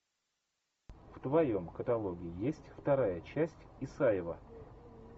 в твоем каталоге есть вторая часть исаева